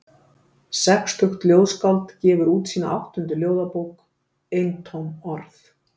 Sextugt ljóðskáld gefur út sína áttundu ljóðabók, Eintóm orð.